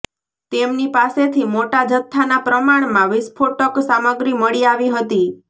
તેમની પાસેથી મોટા જથ્થાના પ્રમાણમાં વિસ્ફોટક સામગ્રી મળી આવી હતી